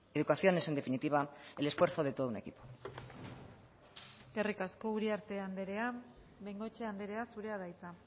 educación es en definitiva el esfuerzo de todo un equipo eskerrik asko uriarte andrea bengoechea andrea zurea da hitza